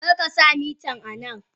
Karkasa mitan anan!